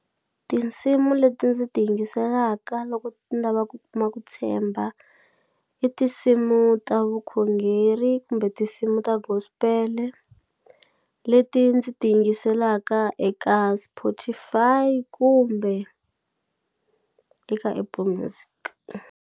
Tinsimu leti ndzi ti yingiselaka loko ni lava ku kuma ku tshemba i tinsimu ta vukhongeri kumbe tinsimu ta gospel-e leti ndzi ti yingiselaka eka Spotify kumbe eka Apple Music.